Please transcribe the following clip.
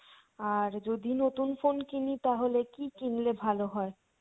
আর যদি নতুন phone কিনি তাহলে কী কিনলে ভালো হয়?